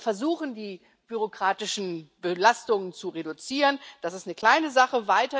Wir versuchen, die bürokratischen Belastungen zu reduzieren, das ist eine kleine Sache.